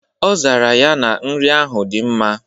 Ọ zara ya na nri ahụ dị mma.